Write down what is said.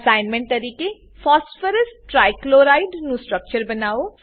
assignment તરીકે phosphorus trichloride નું structure બનાવો